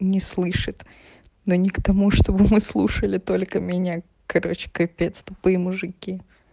не слышит но не к тому чтобы мы слушали только меня короче капец тупые мужики